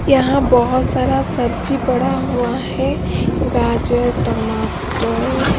यहां बहुत सारा सब्जी पड़ा हुआ है गाजर टमाटर।